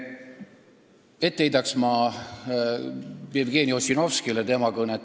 Ma heidaksin Jevgeni Ossinovskile ette tema kõnet.